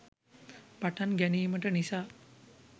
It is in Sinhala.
පටන් ගැනීමට නිසා